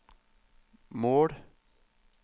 mål